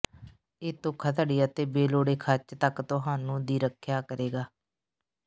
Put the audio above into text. ਇਹ ਧੋਖਾਧੜੀ ਅਤੇ ਬੇਲੋੜੇ ਖਰਚ ਤੱਕ ਤੁਹਾਨੂੰ ਦੀ ਰੱਖਿਆ ਕਰੇਗਾ